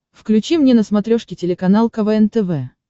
включи мне на смотрешке телеканал квн тв